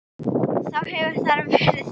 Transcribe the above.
Þá hefur þar verið þorp.